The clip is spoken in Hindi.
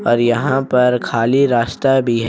और यहां पर खाली रास्ता भी है।